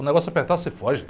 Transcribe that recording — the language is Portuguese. O negócio apertar, você foge.